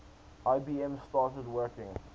ibm started working